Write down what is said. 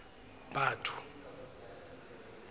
batho